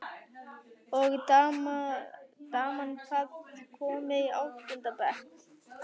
Og daman, hvað- komin í áttunda bekk?